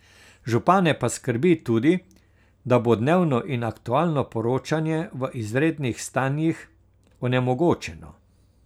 Župane pa skrbi tudi, da bo dnevno in aktualno poročanje v izrednih stanjih onemogočeno.